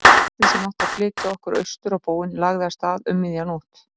Lestin sem átti að flytja okkur austur á bóginn lagði af stað um miðja nótt.